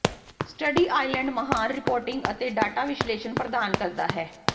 study island ਮਹਾਨ reporting ਅਤੇ data ਵਿਸ਼ਲੇਸ਼ਣ ਪ੍ਰਦਾਨ ਕਰਦਾ ਹੈ